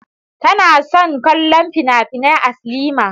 Tana son kallon finafinai a silima.